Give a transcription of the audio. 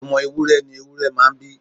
Ọmọ ewúrẹ ni ewúrẹ́ máa ń bí.